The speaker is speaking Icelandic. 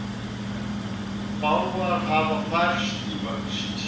Bálfarir hafa færst í vöxt